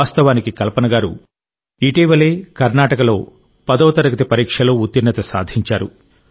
వాస్తవానికి కల్పన గారు ఇటీవలే కర్ణాటకలో 10వ తరగతి పరీక్షలో ఉత్తీర్ణత సాధించారు